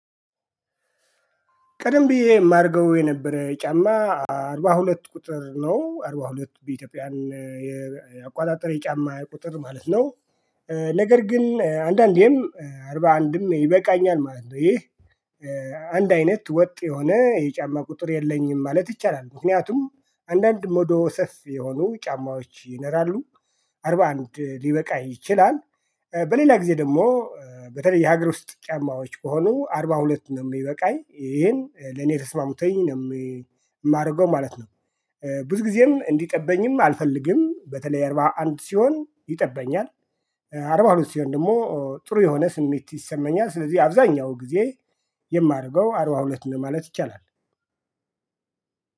ቀደም ብዬ ማረገው የነበረ ጫማ አርባ ሁለት ቁጥር ነው አርባ ሁለት በኢትዮጵያን የ አቆጣጠረ የጫማ ቁጥር ማለት ነው። ነገር ግን አንዳንዴም አርባ አንድም ይበቃኛል ማለት ነው። ይህ አንድ አይነት ወጥ የሆነ የጫማ ቁጥር የለኝም ማለት ይቻላል። ምክንያቱም አንዳንድ ሞዶ ሰፊ የሆኑ ጫማዎች ይነራሉ። አርባ አንድ ሊበቃ ይችላል። በሌላ ጊዜ ደግሞ በተለይ የሀገር ውስጥ ጫማዎች ከሆኑ አርባ ሁለት ነው ሚበቃኝ ይሄን ለኔ ተስማምቶኝ ነው። ማረገው ማለት ነው። ብዙ ጊዜም እንዲጠበኝም አልፈልግም በተለይ አርባ አንድ ሲሆን ይጠበኛል። አርባ ሁለት ሲሆን ደሞ ጥሩ የሆነ ስሜት ይሰማኛል። ስለዚህ አብዛኛው ጊዜ የማረገው አርባ ሁለት ነው ማለት ይቻላል።